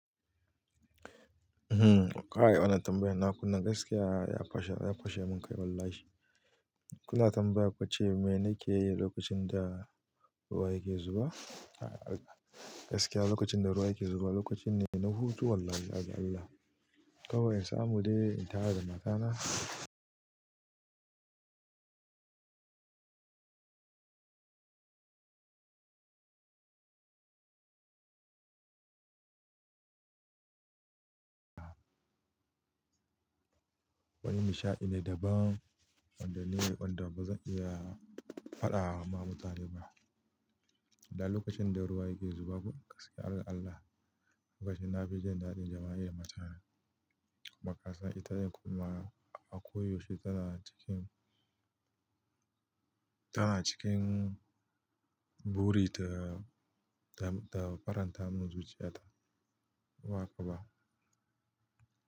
Hmm, kai wannan tambayar na kuna gaskiya ya fashe, ya fashe min kai wallahi. Kuna tambaya kwace me nake yi lokacin da ruwa yake zuba? Gaskiya lokacin da ruwa yake zuba lokacin ne na hutu wallahi azzallaha. Kawai in samu dai in tara da matana. Wani nishaɗi ne daban wanda ne, wanda bazan iya faɗa ma mutane ba. Da lokacin da ruwa yake zuba gaskiya Allah Allah, lokacin na fi jin daɗin jama'i da matana. Amma kasa ita yi kuma a koyaushe tana cikin, tana cikin buri da, da, da faranta min zuciya, ta waka ba.